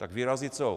Tak vyrazí co?